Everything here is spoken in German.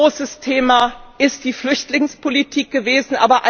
Ein ganz großes Thema ist die Flüchtlingspolitik gewesen.